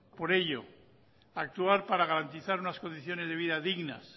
por ello actuar para garantizar unas condiciones de vida dignas